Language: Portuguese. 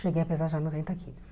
Cheguei a pesar já noventa quilos.